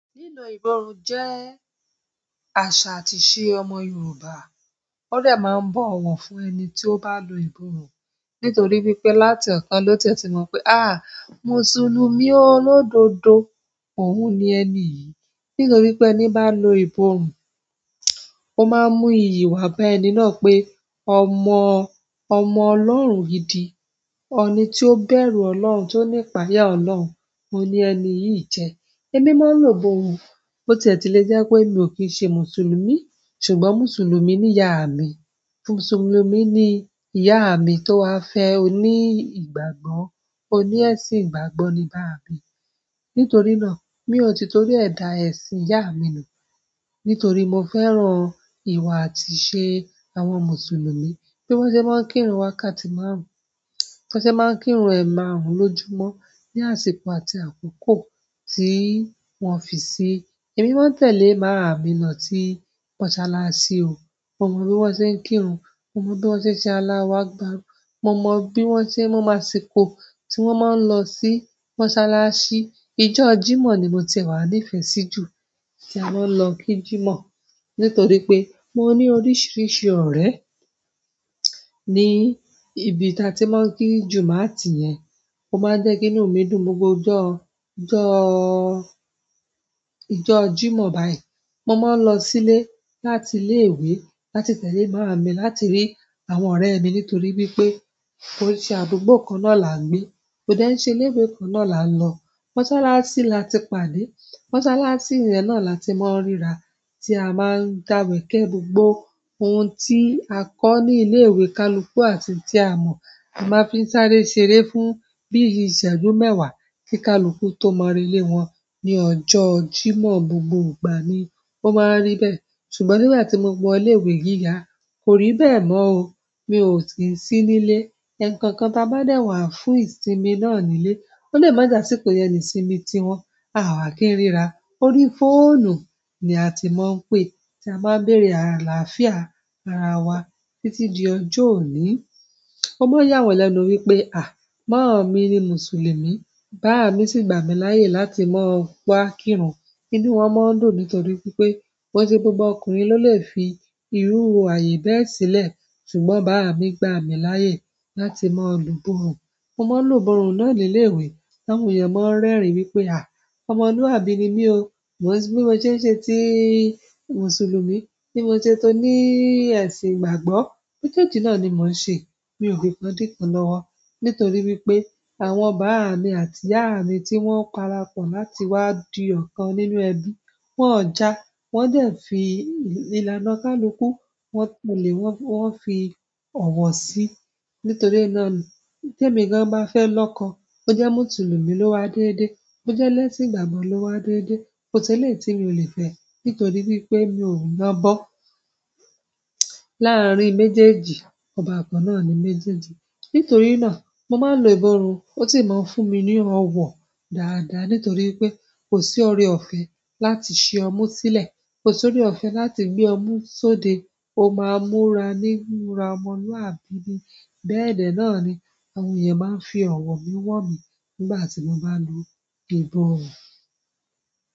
Lílọ ìbòrun jẹ́ àṣà àti ìṣe ọmọ Yorùbá. Wọ́n de máa ń bọ̀ wọ̀ fún ẹni tí ó bá lo ìbòrun nítorí wípé láti ọ̀kan lọ́tí ẹ ti mọ̀ pé, Mùsùlùmí olódodo òun ni ẹni yìí. Nítorí pé ẹni bá lo ìbòrun, ó máa ń mú ìyi wà bá ẹni náà pé ọmọ Ọlọ́run gidi, ọ̀ni tí ó bẹ̀rù Ọlọ́run tí ó ní ìpayà Ọlọ́run, òun ni ẹni yìí jẹ́. Èmi máa ń lo ìbòrun, bo ti e ti lè jẹ́ pé mi ò kí ń ṣe Mùsùlùmí ṣùgbọ́n Mùsùlùmí ni ìyá mi. Mùsùlùmí ni ìyá mi tó wá fẹ́ oní ìgbàgbọ́, oní ẹ̀sìn ìgbàgbọ́ ni bàá mi. Nítorí náà, mi ò ti torí ẹ̀ dà ẹ̀sìn ìyá mi nù nítorí mo fẹ́ràn ìwà àti ìṣe àwọn Mùsùlùmí. So bi wọn ṣe maa n kírun wákàtí márùn-ún, bo wọn se maa n kírun emarun lójúmọ́ ni àsìkò àti akoko ti wọn fi sii. Èmi máa ń tẹ̀lé màá mi lọ si mọ́sálásí ò. Mo mọ bí wọ́n ṣe ń kírun, mo mọ bí wọ́n ṣe ń ṣe alàhwakbaru, mo mọ máa asìkó tí wọ́n máa ń lọ sí mọ́sálásí. Ìjọ jímọ̀ ni mo ti wà ní ìfẹ́ sí jù tí a máa ń lọ kí Jímọ̀ nítorí pé mo ní oríṣiríṣi ọ̀rẹ́ ní ibi tí a ti máa ń kí jùmátì yẹn. O máa jẹ́ kí inú mi dùn gbogbo ijọ́ Jímọ̀ báyìí. Mo máa ń lọ sílé láti ilé ìwé láti tẹ̀lé maami láti rí àwọn ọ̀rẹ́ mi nítorí wípé kó ṣe àdúgbò kan náà là ń gbé. Ko de í ṣe ilé ìwé kan náà la n lọ. Mọ́sálásí là ti pàdé. Mọ́sálásí yẹn náà là ti máa ń ríra tí a máa ń dàwẹ̀ kẹ́ gbogbo ohun tí a kọ́ ní ilé ìwé kaluku àti tí a mọ̀, a máa fi ń sáré ṣeré fún bí i ìsàájú mẹ́wàá kí kaluku tó mọ relé wọn ní ọjọ́ Jímọ̀ gbogbo ìgbà ni ó máa ń rí bẹ́ẹ̀. Ṣùgbọ́n nígbà tí mo wọ ilé ìwé gíga, kò rí bẹ́ẹ̀ mọ́ o. Mi o ki i sii nile ẹ̀kookan tí a bá dẹ̀ wá fún ìsinmi náà nílé, ó lè má já síkò yẹ ní sinmi tí wọn, àwa kì í ríra. Orí fóònù ni a ti máa ń pè tí a máa ń bèrè àlàáfíà ara wa títí di ọjọ́ òní. O máa ń yà wọ́n lẹ́nu wípé, màámi ni Mùsùlùmí, bàámi sì gbà mí láyè láti máa wá kírun. Inú wọn maa n dùn nítorí wípé ko e se gbogbo ọkùnrin lole fi iru ayé bẹ́ẹ̀ sile. Ṣùgbọ́n bàámi gbà mí láyè láti máa lo ìbòrun. Mo máa ń lo ìbòrun náà ní ilé ìwé. Àwọn èèyàn máa ń rẹ́rìn wípé ọmọlúwàbí ni mí o. Bí mo ṣe ń ṣe ti Mùsùlùmí, bí mo ṣe tó ní ẹ̀sìn ìgbàgbọ́. Méjèèjì náà ni mò ń ṣe. Mi ò fikan díkan lọ́wọ́ nítorí wípé àwọn bàámi àti ìyá mi tí wọ́n parapọ̀ láti wá di ọ̀kan nínú ẹbí, wọ́n ò já, wọ́n dẹ̀ fi ìlaná kaluku, wọ́n tẹ lè, wọ́n fi ọ̀wọ̀ sí i. Nítorí náà ni te èmi gan bá fẹ́ lọkọ, bó jẹ́ Mùsùlùmí ló wá dédé, bó jẹ́ eléesìn ìgbàgbọ́ ló wá dédé. Ko si eleyiì tí mi ò lè fẹ́ nítorí wípé mi ò lọ́bọ́. Lárin méjèèjì, ọba kan náà ni méjèèjì. Nítorí náà, mo máa ń lo ìbòrun, ó sì máa ń fún mi ní ọwọ̀ dáadáa nítorí wipé kò sí ọrẹ ọ̀fẹ́ láti ṣe ọmú sílẹ̀, kò sí ọrẹ ọ̀fẹ́ láti gbé ọmú sóde. Ó máa ń múra ni múra ọmọlúwàbí ni. Bẹ́ẹ̀ dẹ náà ni àwọn èèyàn máa ń fi ọ̀wọ̀ mi wọ̀ mí nígbà tí mo bá ń lo ìbòrun.